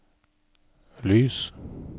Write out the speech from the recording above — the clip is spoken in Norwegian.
lys